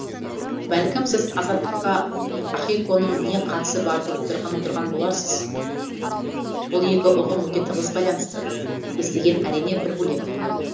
бәлкім сіз азаттыққа ахиконың не қатысы бар деп отырған отырған боларсыз бұл екі ұғым өте тығыз байланысты естіген әрине бір бөлек